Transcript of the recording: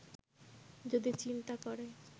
যদি চিন্তা করে